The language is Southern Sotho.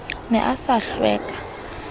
ne a sa itlwe ka